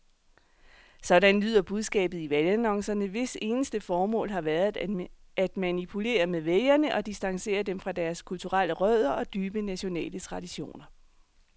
Sådan lyder budskabet i valgannoncerne, hvis eneste formål har været at manipulere med vælgere og distancere dem fra deres kulturelle rødder og dybe nationale traditioner.